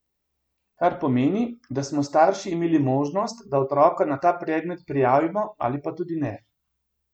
Kar pomeni, da smo starši imeli možnost, da otroka na ta predmet prijavimo ali pa tudi ne.